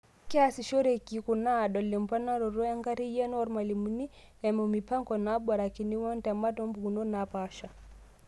Keasishoreki kuna aadol emponaroto enkarriyano oormalimuni, eimu mipanga naaborikini wontemat oompukunot napaasha.